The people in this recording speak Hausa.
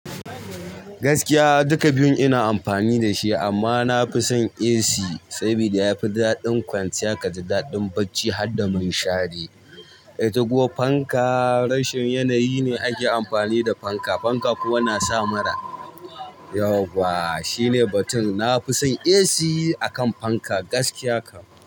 Gaskiya duka biyun ina amfani da shi amma na fi son AC saboda ya fi daɗin kwanciya ka da daɗin bacci har da mun share. Ita kuwa fanka rashin yanayi ne ake amfani da fanka. Fanka kuwa na sa mara. Yau kuwa shine batun na fi son AC akan fanka gaskiya kam.